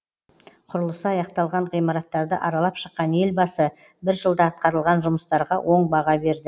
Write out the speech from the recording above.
құрылысы аяқталған ғимараттарды аралап шыққан елбасы бір жылда атқарылған жұмыстарға оң баға берді